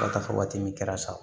Ka taa fɔ waati min kɛra sa